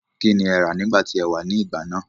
kín ni ẹ rà nígbà tí e wá ní ìgbà náà?